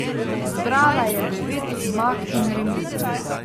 Zbrala je devet zmag in remi.